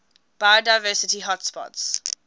biodiversity hotspots